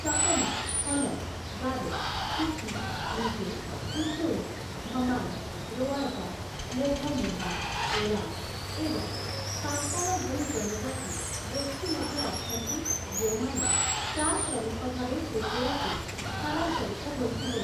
ଚକମା, ହଲମ୍‌, ଗାରୋ, କୁକି, ମିଜୋ, ଉଚୋଇ, ଧମାଇ, ରୋଆଜା, ମୋଘ ମୁଣ୍ଡା, ଓରାଓଁ ଏବଂ ସାନ୍ତାଳ ଭଳି ଜନଜାତି ଗୋଷ୍ଠୀ ମଧ୍ୟ ଅଛନ୍ତି ଯେଉଁମାନେ ଚା' ଶ୍ରମିକ ଭାବେ ତ୍ରିପୁରାକୁ ସ୍ଥାନାନ୍ତରିତ ହୋଇଥିଲେ ।